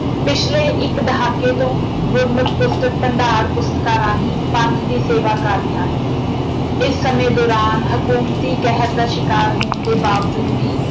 ਪਿਛਲੇ ਇੱਕ ਦਹਾਕੇ ਤੋਂ ਗੁਰਮਤ ਪੁਸਤਕਾਂ ਭੰਡਾਰ ਪੁਸਤਕਾਂ ਰਾਹੀਂ ਪੰਥ ਦੀ ਸੇਵਾ ਕਰ ਰਿਹਾ ਹੈ। ਇਸ ਸਮੇਂ ਦੌਰਾਨ ਹਕੂਮਤੀ ਕਹਿਰ ਦਾ ਸ਼ਿਕਾਰ ਹੋਣ ਦੇ ਬਾਵਜੂਦ ਵੀ